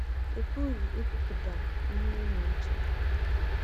Ị pụghị ikwupụta ihe ị na-eche.